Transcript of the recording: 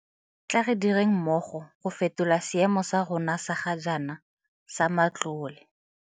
Tla re direng mmogo go fetola seemo sa rona sa ga jaana sa matlole.